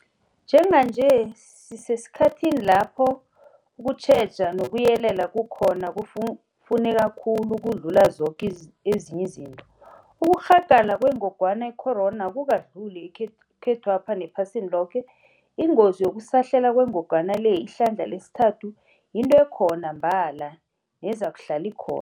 Njenganje sisesikhathini lapho ukutjheja nokuyelela kukhona kufuneka khulu ukudlula zoke ezinye izinto. Ukurhagala kwengogwana icorona akukadluli, ekhethwapha nephasini loke. Ingozi yokusahlela kwengogwana le ihlandla le sithathu yinto ekhona mbala nezakuhlala ikho